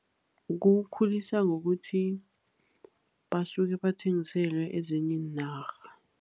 Kukhulisa ngokuthi basuke bathengiselwe ezinye iinarha.